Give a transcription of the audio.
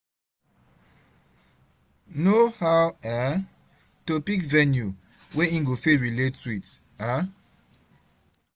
no aw um to pick venue wey em go fit relate wit um